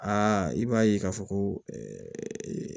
Aa i b'a ye k'a fɔ ko